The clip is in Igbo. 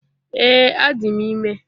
Ee, adị m ime